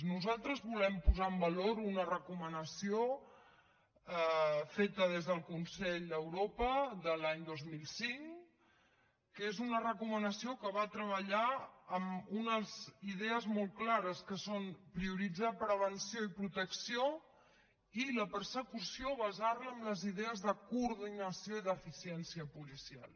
nosaltres volem posar en valor una recomanació feta des del consell d’europa de l’any dos mil cinc que és una recomanació que va treballar amb unes idees molt clares que són prioritzar prevenció i protecció i la persecució basar la en les idees de coordinació i d’eficiència policial